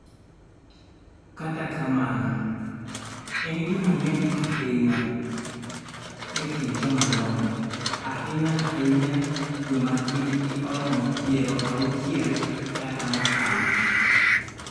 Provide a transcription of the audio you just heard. Kata kamano, en gima ng�eny ahinya e kind jomadongo, ahinya-ahinya joma hikgi oromo 60 kata mokalo.